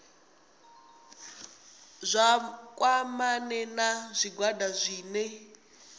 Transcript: vha kwamane na zwigwada zwine